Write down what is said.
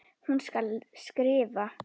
Hún skal skrifa!